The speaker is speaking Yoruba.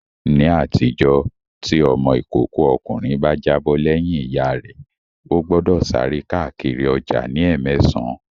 Ní àtijọ́, tí ọmọ ìkókó ọkùnrin bá jábọ̀ lẹ́yìn Ìyá rẹ, ó gbọ́dọ̀ sáré káàkiri ọjà ní ẹ́mẹsàn